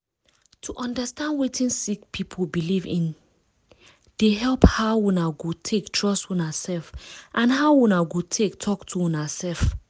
to understand wetin sick people belief in dey help how una go take trust una self and how una go take talk to una self.